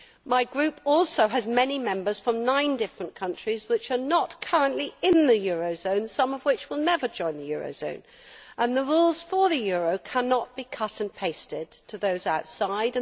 My Group also has many Members from nine different countries which are not currently in the euro area, some of which will never join the euro area, and the rules for the euro cannot be cut and pasted to those outside.